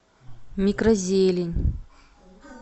микрозелень